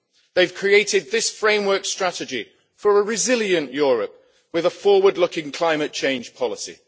they have created this framework strategy for a resilient Europe with a forward-looking climate change policy.